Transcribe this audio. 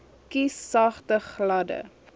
kies sagte gladde